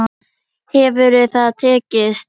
Hefur það tekist?